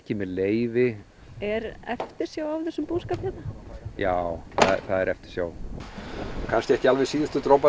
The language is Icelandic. með leyfi er eftirsjá af þessum búskap já það er eftirsjá kannski ekki alveg síðustu droparnir